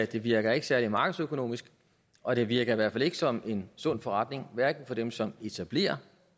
det virker ikke særlig markedsøkonomisk og det virker i hvert fald ikke som en sund forretning hverken for dem som etablerer